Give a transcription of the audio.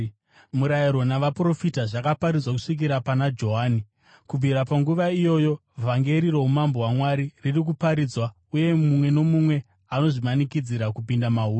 “Murayiro navaprofita zvakaparidzwa kusvikira pana Johani. Kubvira panguva iyoyo, vhangeri roumambo hwaMwari riri kuparidzwa, uye mumwe nomumwe anozvimanikidzira kupinda mahuri.